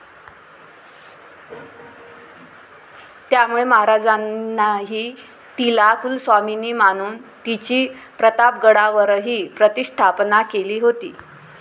त्यामुळे महाराजांनीही तिला कुलस्वामिनी मानून, तिची प्रतापगडावरही प्रतिष्ठापना केली होती.